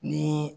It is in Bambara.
Ni